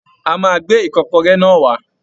A máa gbé Ìkọ́kọrẹ́ náà wá